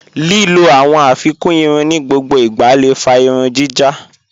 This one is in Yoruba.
Lílọ̀ awọn afikún ìrùn ni gbogbo ìgbà lé fà ìrùn jíjá.